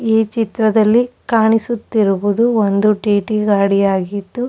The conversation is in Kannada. ಈ ಚಿತ್ರದಲ್ಲಿ ಕಾಣಿಸುತ್ತಿವುದು ಒಂದು ಟೀಟೀ ಗಾಡಿ ಆಗಿದ್ದು --